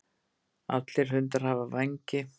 allir hundar hafa vængi